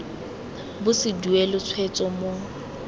bo se duelwe tshwetso mo